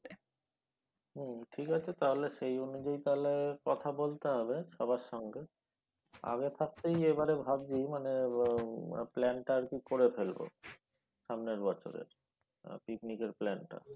হম ঠিক আছে তাহলে সেই অনুযায়ী তাহলে কথা বলতে হবে সবার সঙ্গে আগে থাকতেই এবারে ভাবছি মানে plan টা আর কি করে ফেলব সামনের বছরের পিকনিকের plan টা